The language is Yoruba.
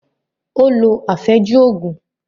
Ó lo àfẹ́jù Ògùn